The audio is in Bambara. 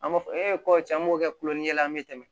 An b'a fɔ e ko tiɲɛ an b'o kɛ kulon ni ye la an be tɛmɛ